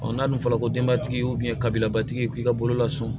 n'a dun fɔra ko denbatigi kabilabatigi k'i ka bolola so